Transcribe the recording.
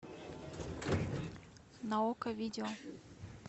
на окко видео